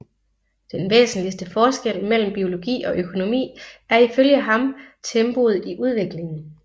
Den væsentligste forskel mellem biologi og økonomi er ifølge ham tempoet i udviklingen